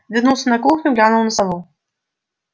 вернулся на кухню глянул на сову